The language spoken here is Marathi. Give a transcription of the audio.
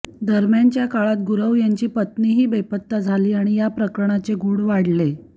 दरम्यानच्या काळात गुरव यांची पत्नीही बेपत्ता झाली आणि या प्रकरणाचे गूढ वाढले